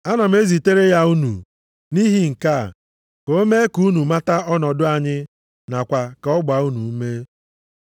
Ana m ezitere ya unu nʼihi nke a, ka o mee ka unu mata ọnọdụ anyị nakwa ka ọ gbaa unu ume.